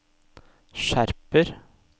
skjerper